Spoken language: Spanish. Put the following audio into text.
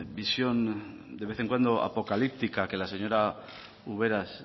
visión de vez en cuando apocalíptica que la señora ubera